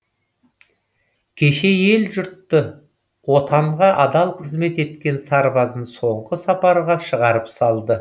кеше ел жұрт отанға адал қызмет еткен сарбазын соңғы сапарға шығарып салды